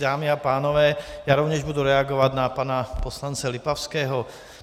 Dámy a pánové, já rovněž budu reagovat na pana poslance Lipavského.